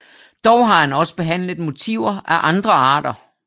Dog har han også behandlet motiver af andre arter